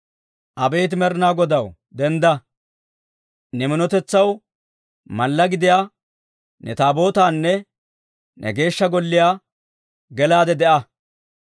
Abeet Med'inaa Godaw, dendda! Ne minotetsaw mallaa gidiyaa ne Taabootaanna, ne Geeshsha Golliyaa gelaade de'a.